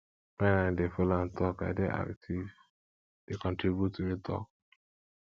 wen i dey folo am tok i dey active dey contribute to di talk